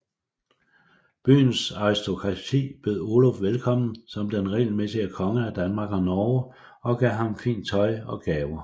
Byens aristokrati bød Oluf velkommen som den retmæssige konge af Danmark og Norge og gav ham fint tøj og gaver